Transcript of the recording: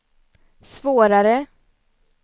svårare